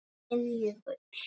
Þinn Jökull.